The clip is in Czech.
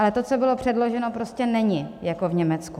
Ale to, co bylo předloženo, prostě není jako v Německu.